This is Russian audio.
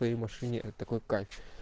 машине это такой кайф